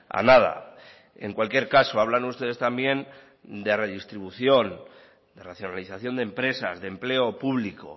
a nada en cualquier caso hablan ustedes también de redistribución de racionalización de empresas de empleo público